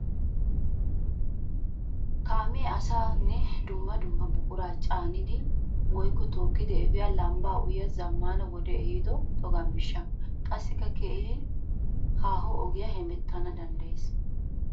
Kaame asaanne dumma dumma buqura caaniddi woykko tookkiddi efiya lambba uyiya zamaana wode ehiido togga miishsha. Qassikka keehi haaho ogiya hemettana danddayes.